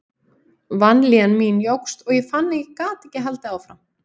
Vanlíðan mín jókst og ég fann að ég gat ekki haldið áfram.